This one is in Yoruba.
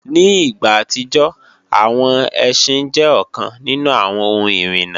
Ní ìgbà àtijọ́, àwọn ẹsín jẹ́ ọ̀kan nínú àwọn ohun ìrìna